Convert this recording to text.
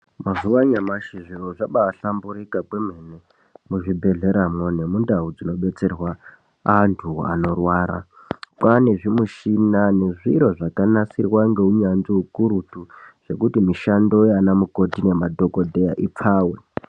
Mazuwa anyamashi zviro zvabahlamburuka kwemene kuzvibhehleramwo nemundau dzinodetserwa antu anorwara. Kwane zvimushina zvakanasirwa neunyanzvi ukurutu zvekuti mushando yanamukoti nemadhokodheya ipfave.